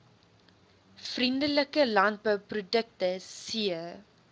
vriendelike landbouprodukte c